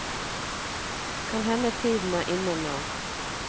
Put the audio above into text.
Kan hende tiden er inne nå.